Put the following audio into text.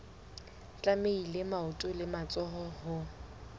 tlamehile maoto le matsoho ho